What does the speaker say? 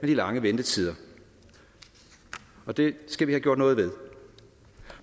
de lange ventetider og det skal vi have gjort noget ved